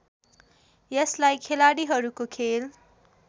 यसलाई खेलाड़ीहरूको खेल